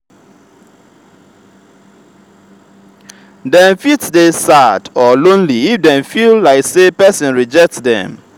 dem fit dey sad or lonely if dem feel like say persin reject dem